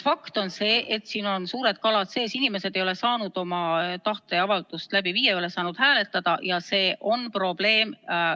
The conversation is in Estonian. Fakt on see, et siin on suured kalad sees, inimesed ei ole saanud oma tahteavaldust läbi viia, ei ole saanud hääletada, ja see on probleem.